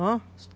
Hã?